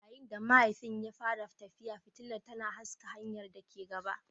Yayin da mahayin ya fara tafiya, fitilar tana haskaka hanyar da ke gaba.